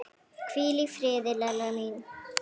Hvíl í friði, Lella mín.